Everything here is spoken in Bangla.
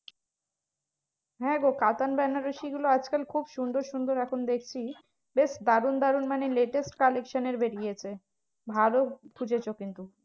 হ্যাঁ গো কাতান বেনারসি গুলো আজকাল খুব সুন্দর সুন্দর এখন দেখছি বেশ দারুন দারুন মানে latest collection এর বেরিয়েছে ভালো খুঁজেছো কিন্তু।